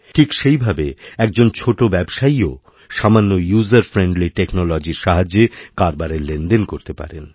ঠিক সেইভাবে একজন ছোটো ব্যবসায়ীও সামান্য ইউজারফ্রেইণ্ডলি টেকনোলজির সাহায্যে কারবারের লেনদেন করতে পারেন